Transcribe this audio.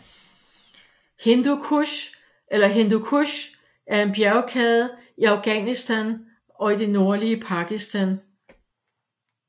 Hindu Kush eller Hindukush er en bjergkæde i Afghanistan og i det nordlige Pakistan